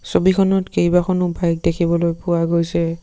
ছবিখনত কেইবাখনো বাইক দেখিবলৈ পোৱা গৈছে।